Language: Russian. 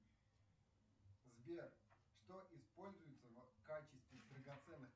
сбер что используется в качестве драгоценных